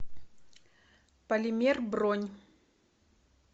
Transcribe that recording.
полимер бронь